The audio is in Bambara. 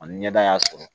Ani ɲɛda y'a sɔrɔ